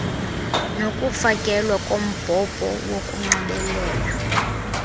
nokufakelwa kombhobho wokunxibelela